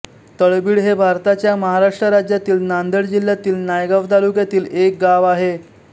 तळबीड हे भारताच्या महाराष्ट्र राज्यातील नांदेड जिल्ह्यातील नायगाव तालुक्यातील एक गाव आहे